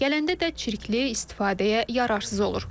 Gələndə də çirkli, istifadəyə yararsız olur.